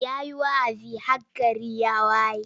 Ya yi wa'azi har gari ya waye.